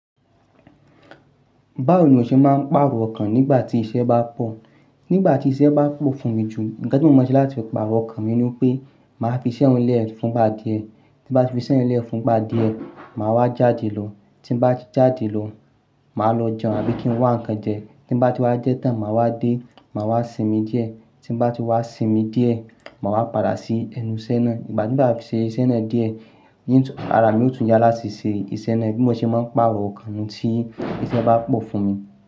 Báwo ni o ṣe máa ń pàrọ̀ ọkàn nígbà tí iṣẹ́ bá pọ̀? Nígbà tí iṣẹ́ bá pọ̀ fún mi jù, ńnkan tí mo maa ṣe láti pàrọ̀ ọkàn mi ni wipé màá fi iṣẹ́ un lẹ́ ẹ̀ fún igbá dìé. Tí n bá ti fi iṣẹ́ ye lẹ́ ẹ̀ fún igbá dìé, màá wá jáde lọ. Tí n bá ti jáde lọ, màá lọ jẹun àbí kí n wá ǹnkan jẹ. Tí mo bá ti wá jẹ́ tán, màá wá dé, màá wá sinmi díẹ̀. Tí mo bá ti wá sinmi díẹ̀, màá wá padà sí ẹnu iṣẹ́ náà. Ìgbà tí mo bá fi ṣe iṣẹ́ náà díẹ̀, yí ń tún-- ara mi ó tún yá láti ṣe iṣẹ́ náà. Bí mo ṣe máa ń pàrọ̀ ọkàn mi tí iṣẹ́ bá pọ̀ fún mi.